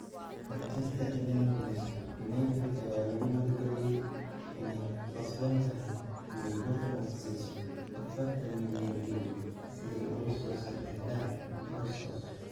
(Manchester Evening News) United ayaa lagu wargeliyay inay ku qasban tahay inay Bournemouth siiso 40 milyan ginni si ay ula soo saxiixdaan Brooks.